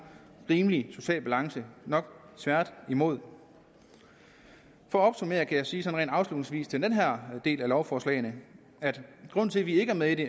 rimelig social balance nok tværtimod for at opsummere kan jeg sige sådan rent afslutningsvis til den her del af lovforslagene at grunden til at vi ikke er med i det